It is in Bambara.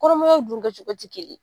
Kɔnɔmayaw dun kɛcogo tɛ kelen ye